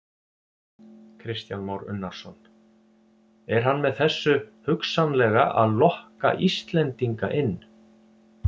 Kristján Már Unnarsson: Er hann með þessu hugsanlega að lokka Íslendinga inn?